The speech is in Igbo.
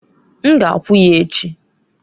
N g'akwu ya echi.